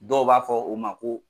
Dɔw b'a fɔ o ma ko